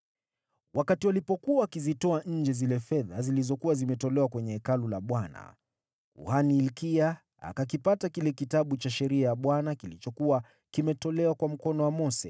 Wakati walikuwa wakizitoa nje fedha zilizokuwa zimetolewa kwenye Hekalu la Bwana , kuhani Hilkia akakipata kile Kitabu cha Sheria ya Bwana kilichokua kimetolewa kwa mkono wa Mose.